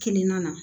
Kilina na